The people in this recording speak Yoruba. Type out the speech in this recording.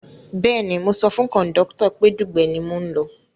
Bẹ́ẹ̀ni mo sọ fún kọ̀ndọ́tọ̀ pé Dugbe ni mò ń lọ